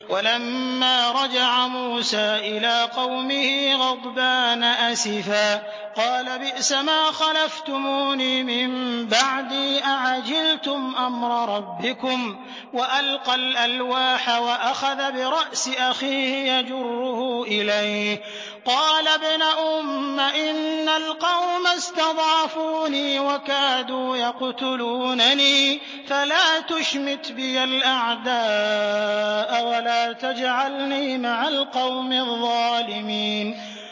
وَلَمَّا رَجَعَ مُوسَىٰ إِلَىٰ قَوْمِهِ غَضْبَانَ أَسِفًا قَالَ بِئْسَمَا خَلَفْتُمُونِي مِن بَعْدِي ۖ أَعَجِلْتُمْ أَمْرَ رَبِّكُمْ ۖ وَأَلْقَى الْأَلْوَاحَ وَأَخَذَ بِرَأْسِ أَخِيهِ يَجُرُّهُ إِلَيْهِ ۚ قَالَ ابْنَ أُمَّ إِنَّ الْقَوْمَ اسْتَضْعَفُونِي وَكَادُوا يَقْتُلُونَنِي فَلَا تُشْمِتْ بِيَ الْأَعْدَاءَ وَلَا تَجْعَلْنِي مَعَ الْقَوْمِ الظَّالِمِينَ